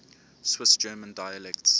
swiss german dialects